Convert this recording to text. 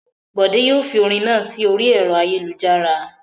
Bòdé yóò fi orin náà sí orí ẹ̀rọ ayélujára.